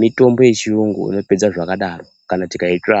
mitombo yechiyungu inopedza zvakadaro kana tikaitsvaka.